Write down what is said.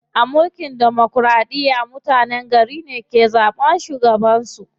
A mulkin demokiraɗiya, mutenen gari ne ke zaɓan shugaban su.